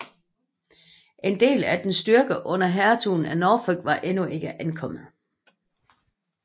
En del af dens styrke under hertugen af Norfolk var endnu ikke ankommet